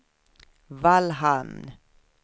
Vallhamn